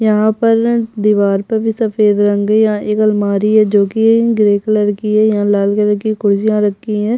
यहाँ पर न दीवार पर भी सफेद रंग है यहाँ एक अलमारी है जोकि ग्रे कलर की है यहाँ लाल कलर की कुर्सियाँ रखी हैं।